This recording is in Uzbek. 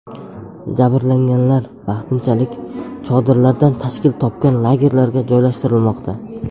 Jabrlanganlar vaqtinchalik chodirlardan tashkil topgan lagerlarga joylashtirilmoqda.